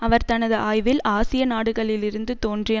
அவர் தனது ஆய்வில் ஆசிய நாடுகளிலிருந்து தோன்றிய